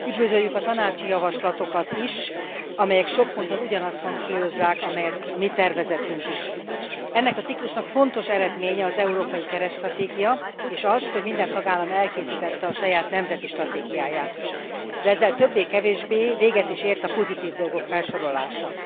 Üdvözöljük a tanácsi javaslatokat is, amelyek sok ponton ugyanazt hangsúlyozzák, amit a mi tervezetünk is. Ennek a ciklusnak fontos eredménye az európai keretstratégia és az, hogy minden tagállam elkészítette a saját nemzeti stratégiáját, de ezzel többé kevésbé véget is ért a pozitív dolgok felsorolása.